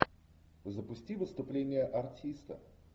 запусти выступление артиста